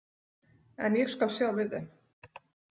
En ég skal sjá við þeim.